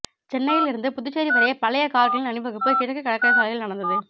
சென்னையில் இருந்து புதுச்சேரி வரை பழைய கார்களின் அணிவகுப்பு கிழக்கு கடற்கரை சாலையில் நடந்தது